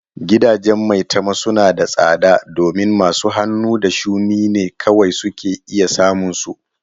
Gidajen maitama suna da tsada domin masu hannu da shuni ne kawai ke iya samun su.